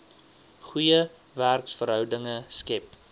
goeie werksverhoudinge skep